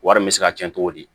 Wari bɛ se ka cɛn cogo di